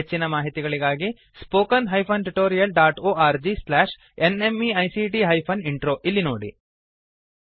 ಹೆಚ್ಚಿನ ಮಾಹಿತಿಗಾಗಿ spoken hyphen tutorial dot org slash NMEICT hyphen intro ಇಲ್ಲಿ ನೋಡಿ